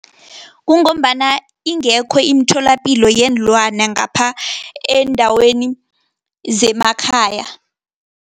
Kungombana ingekho iimtholapilo yeenlwana, ngapha eendaweni zemakhaya.